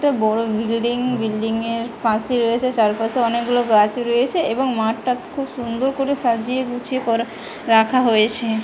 একটা বড়ো বিল্ডিং বিল্ডিংয়ের পাশে রয়েছে চারপাশে অনেকগুলো গাছ রয়েছে এবং মাঠটা খুব সুন্দর করে সাজিয়ে গুছিয়ে করা রাখা হয়েছে |